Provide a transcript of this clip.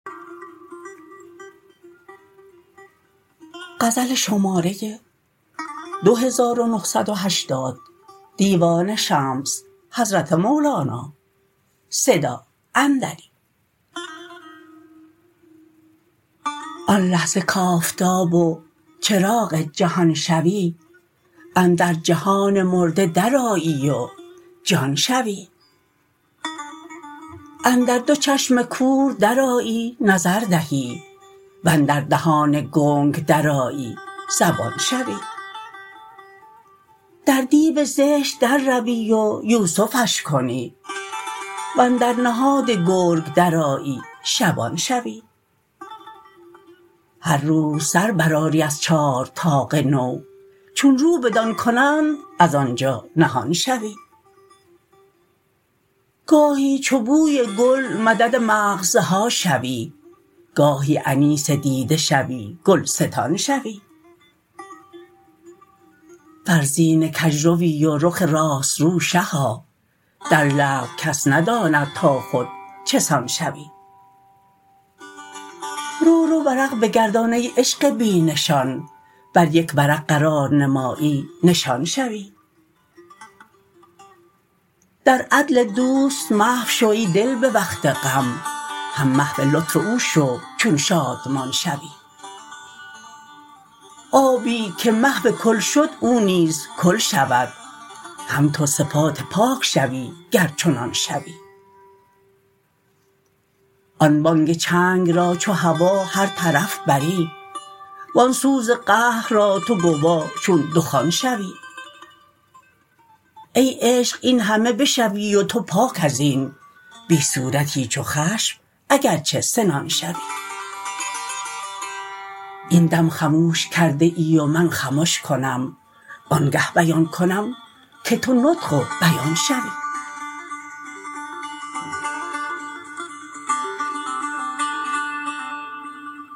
آن لحظه کآفتاب و چراغ جهان شوی اندر جهان مرده درآیی و جان شوی اندر دو چشم کور درآیی نظر دهی و اندر دهان گنگ درآیی زبان شوی در دیو زشت درروی و یوسفش کنی و اندر نهاد گرگ درآیی شبان شوی هر روز سر برآری از چارطاق نو چون رو بدان کنند از آن جا نهان شوی گاهی چو بوی گل مدد مغزها شوی گاهی انیس دیده شوی گلستان شوی فرزین کژروی و رخ راست رو شها در لعب کس نداند تا خود چه سان شوی رو رو ورق بگردان ای عشق بی نشان بر یک ورق قرار نمایی نشان شوی در عدل دوست محو شو ای دل به وقت غم هم محو لطف او شو چون شادمان شوی آبی که محو کل شد او نیز کل شود هم تو صفات پاک شوی گر چنان شوی آن بانگ چنگ را چو هوا هر طرف بری و آن سوز قهر را تو گوا چون دخان شوی ای عشق این همه بشوی و تو پاک از این بی صورتی چو خشم اگر چه سنان شوی این دم خموش کرده ای و من خمش کنم آنگه بیان کنم که تو نطق و بیان شوی